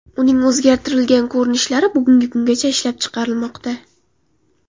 Uning o‘zgartirilgan ko‘rinishlari bugungi kungacha ishlab chiqarilmoqda.